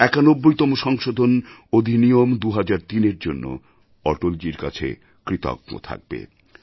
একানব্বইতম সংশোধন অধিনিয়ম ২০০৩এর জন্য অটলজীর কাছে কৃতজ্ঞ থাকবে